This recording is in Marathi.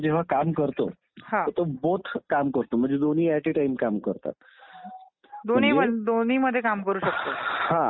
प्रत्यक्ष निवडणूक आणि एक अप्रत्यक्ष निवडणूक अशी असते की उदाहरणार्थ आपल्या देशात राष्ट्रपतीची निवडणूक जी आहे